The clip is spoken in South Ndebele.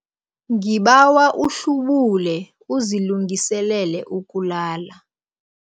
Ngibawa uhlubule uzilungiselele ukulala.